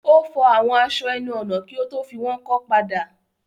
Ó fọ àwọn aṣọ ẹnu-ọ̀nà kí ó tó fi wọ́n kọ́ padà.